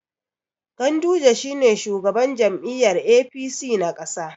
Ganduje shi ne shugaban jam'iyyar APC na ƙasa.